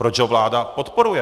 Proč ho vláda podporuje?